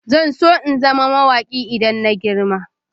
Zan so in zama mawaki idan na girma.